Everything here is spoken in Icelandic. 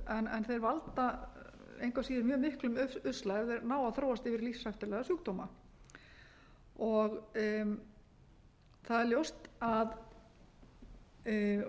heilahimnubólgu en þeir valda engu að síður mjög miklum usla ef þeir ná að þróast yfir í lífshættulega sjúkdóma það er ljóst